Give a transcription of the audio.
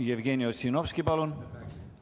Jevgeni Ossinovski, palun!